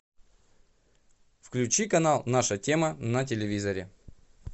включи канал наша тема на телевизоре